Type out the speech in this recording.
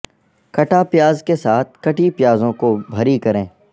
کٹا پیاز کے ساتھ کٹی پیازوں کو بھری کریں